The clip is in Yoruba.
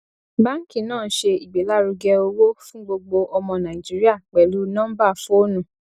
báàǹkì náà ń ṣe ìgbélárugẹ owó fún gbogbo ọmọ nàìjíríà pẹlú nọmbà fóònù